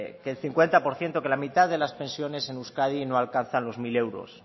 que el cincuenta por ciento que la mitad de las pensiones en euskadi no alcanzan los mil euros